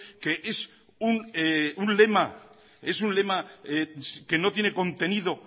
que es un lema es un lema que no tiene contenido